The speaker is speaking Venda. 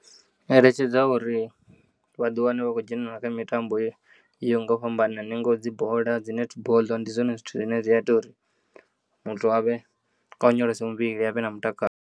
Eletshedza uri vha ḓiwane vha kho dzhenelela kha mitambo yo yoya ngo fhambanana ingaho dzi bola dzi netboḽo ndi zwone zwithu zwine zwiya ita uri muthu avhe a onyolose muvhili avhe na mutakalo.